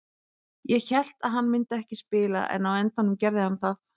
Ég hélt að hann myndi ekki spila en á endanum gat hann það.